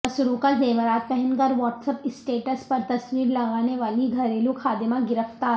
مسروقہ زیورات پہن کر واٹس اپ اسٹیٹس پر تصویر لگانے والی گھریلو خادمہ گرفتار